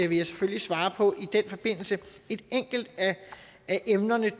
vil jeg selvfølgelig svare på i den forbindelse et enkelt af emnerne